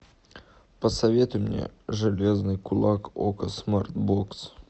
посоветуй мне железный кулак окко смарт бокс